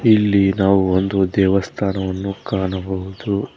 ಇಲ್ಲಿ ನಾವು ಒಂದು ದೇವಸ್ಥಾನವನ್ನು ಕಾಣಬಹುದು.